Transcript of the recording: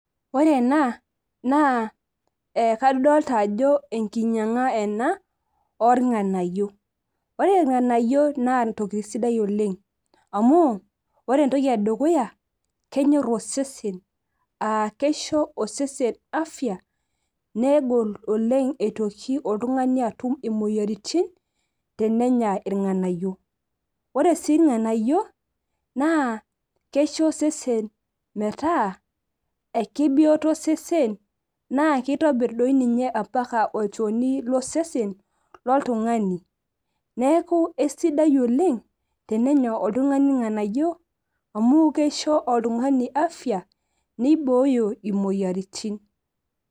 ore ena naa, kadolta ajo enkinyianga ena oornganayio. ore itrnganayi naa entoki sidai oleng. amu, ore entoki edukuya naa kenyor osesen aa keisho osesen afia aa negol, oleng eitoki oltungani aum imoyiaritin, tenenya irnganyio, oe sii irnganayio, naa keisho osesen metaa, kebioto osesen naa kitobir doi ninye mpaka olchoni losesen lolltungani, neeku eisidai oleng teneya oltungani irnganayio amu kisho oltungani afia nibooyo oltungani moyiaritin.